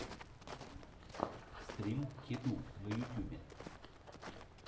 стрим кеду на ютюбе